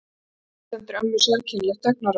Afi sendir ömmu sérkennilegt augnaráð.